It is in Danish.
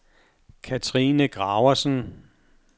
Katrine Graversen